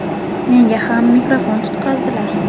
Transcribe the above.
Menga ham mikrofon tutqazdilar.